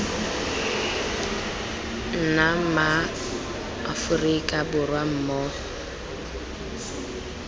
nna ma aforika borwa mmogo